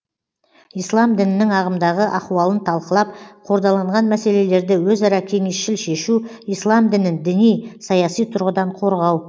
ислам дінінің ағымдағы ахуалын талқылап қордаланған мәселелерді өзара кеңесшіл шешу ислам дінін діни саяси тұрғыдан қорғау